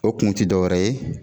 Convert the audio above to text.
O kun tI dɔwɛrɛ ye